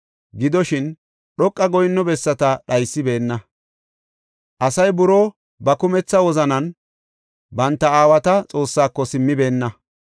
Gidoshin, dhoqa goyinno bessata dhaysibeenna; asay buroo ba kumetha wozanan banta aawata Xoossaako simmibeenna.